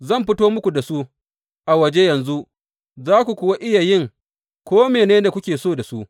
Zan fito muku da su a waje yanzu, za ku kuwa iya yin ko mene ne da kuke so da su.